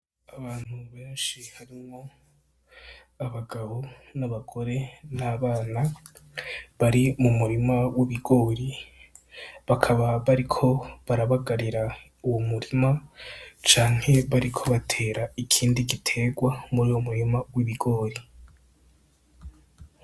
Abantu benshi harimwo abagabo, n'abagore, n'abana bari mu murima w'ibigori. Bakaba bariko barabagarira uwo murima canke bariko batera ikindi giterwa muri uwo murima w'ibigori.